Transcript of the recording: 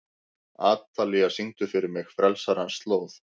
Atalía, syngdu fyrir mig „Frelsarans slóð“.